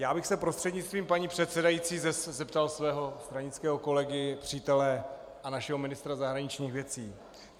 Já bych se prostřednictvím paní předsedající zeptal svého stranického kolegy, přítele a našeho ministra zahraničních věcí.